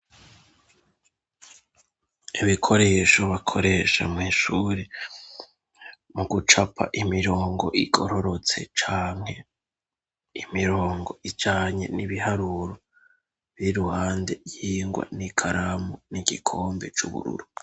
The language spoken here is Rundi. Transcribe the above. Ibikoresho bakoresha mw'ishure mu gucapa imirongo igororotse canke imirongo ijanye n'ibiharuro biri iruhande y'ingwa n'ikaramu n'igikombe c'ubururu.